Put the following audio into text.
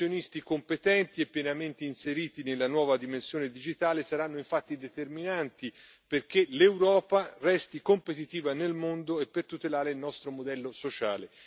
Professionisti competenti e pienamente inseriti nella nuova dimensione digitale saranno infatti determinanti perché l'Europa resti competitiva nel mondo e per tutelare il nostro modello sociale.